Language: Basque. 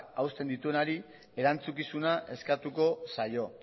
hausten dituenari erantzukizuna eskatuko zaio